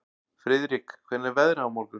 Friðrik, hvernig er veðrið á morgun?